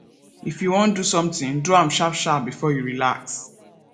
if you wan do something do am sharp sharp before you relax